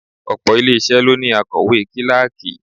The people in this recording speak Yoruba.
Òpò ilé isẹ ló ní akowe kíláàkì.